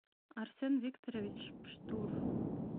арсен викторович пштур